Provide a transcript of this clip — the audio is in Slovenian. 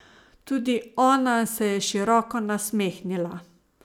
Tudi ona se je široko nasmehnila.